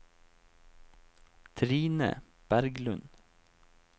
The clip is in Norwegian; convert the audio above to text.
Trine Berglund